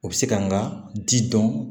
U bɛ se ka n ka ji dɔn